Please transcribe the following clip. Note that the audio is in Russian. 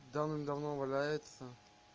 давным-давно валяется